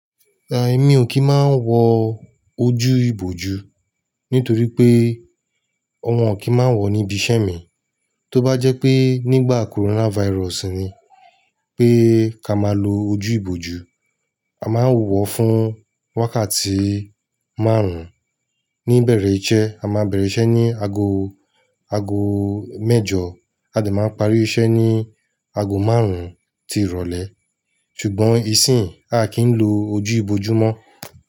Rárá, èmi ò kí máa ń wọ ojú-ìbòjú nítorí pé ọmọ ò kí máa wọ̀ níbi iṣẹ́ mi. Tó bá jẹ́ pé nígbà coronavirus ni pé ká máa lo ojú-ìbòjú, a máa ń wọ̀ fún wákàtí márùn-ún níbẹ̀rẹ̀ iṣẹ́. A máa bẹ̀rẹ̀ iṣẹ́ ní ago, ago mẹ́jọ, a de máa parí iṣẹ́ ní ago márùn-ún tí ìrọ̀lẹ́. Ṣùgbọ́n ìsínyì, a kì ń lo ojú-ìbòjú mọ́.